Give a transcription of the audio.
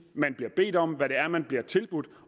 man bliver bedt om hvad det er man bliver tilbudt